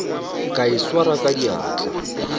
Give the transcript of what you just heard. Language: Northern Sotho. ka e swara ka diatla